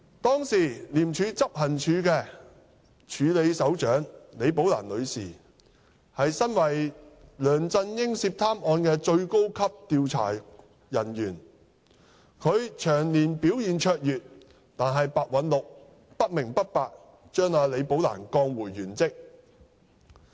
當時的廉署署理執行處首長李寶蘭女士為梁振英涉貪案的最高級調查人員，長年表現卓越，但白韞六不明不白地把李寶蘭女士降回原職。